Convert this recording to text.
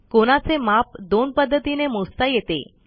कोनाचे माप दोन पध्दतीने मोजता येते